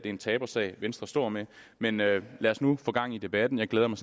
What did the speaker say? en tabersag venstre står med men lad os nu få gang i debatten jeg glæder mig